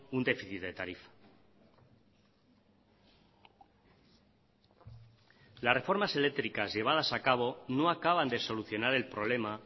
un déficit de tarifa las reformas eléctricas llevadas a cabo no acaban de solucionar el problema